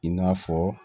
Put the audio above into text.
I n'a fɔ